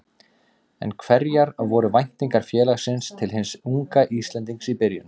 En hverjar voru væntingar félagsins til hins unga Íslendings í byrjun?